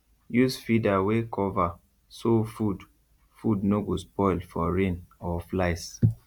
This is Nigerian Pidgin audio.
use feeder wey cover so food food no go spoil for rain or flies